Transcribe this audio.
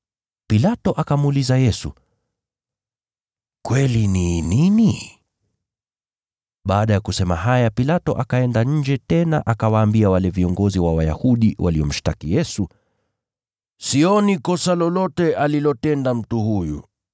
Pilato akamuuliza Yesu, “Kweli ni nini?” Baada ya kusema haya Pilato akaenda nje tena akawaambia wale viongozi wa Wayahudi waliomshtaki Yesu, “Sioni kosa lolote alilotenda mtu huyu.